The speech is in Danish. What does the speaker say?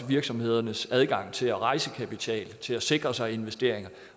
virksomhedernes adgang til at rejse kapital til at sikre sig investeringer